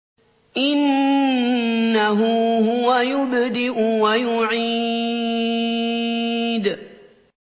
إِنَّهُ هُوَ يُبْدِئُ وَيُعِيدُ